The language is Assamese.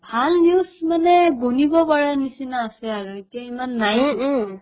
ভাল news মানে গণিব পাৰা নিচিনা আছে আৰু এতিয়া ইমান নাইয়ে